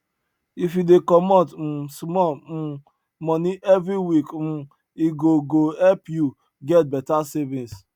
if you dey comot um small um money every week um e go go help you get better savings